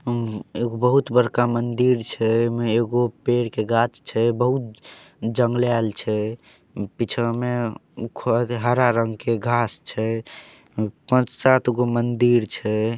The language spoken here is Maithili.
उम एगो बहुत बड़का मंदिर छै उमे एगो पेड़ के गाछ छै बहुत जंगलेल छै पीछा में हरा रंग के घास छै पांच सातगो मंदिर छै।